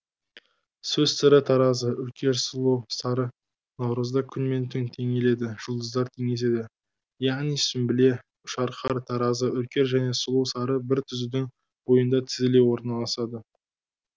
сөз сыры таразы үркер сұлу сары наурызда күн мен түн теңеледі жұлдыздар теңеседі яғни сүмбіле үшарқар таразы үркер және сұлу сары бір түзудің бойында тізіле орналасады